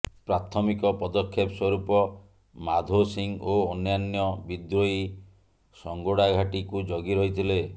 ପ୍ରାଥମିକ ପଦକ୍ଷେପ ସ୍ବରୂପ ମାଧୋ ସିଂ ଓ ଅନ୍ୟାନ୍ୟ ବିଦ୍ରୋହୀ ସଂଗୋଡାଘାଟିକୁ ଜଗି ରହିଥିଲେ